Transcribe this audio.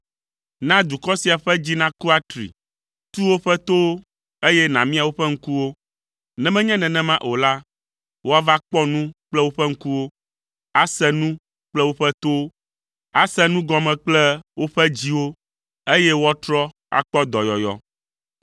Na dukɔ sia ƒe dzi naku atri, tu woƒe towo, eye nàmia woƒe ŋkuwo. Ne menye nenema o la, woava kpɔ nu kple woƒe ŋkuwo, ase nu kple woƒe towo, ase nu gɔme kple woƒe dziwo, eye woatrɔ akpɔ dɔyɔyɔ.”